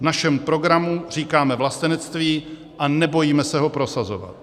V našem programu říkáme vlastenectví a nebojíme se ho prosazovat.